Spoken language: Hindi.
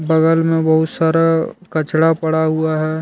बगल में बहुत सारा कचरा पड़ा हुआ है।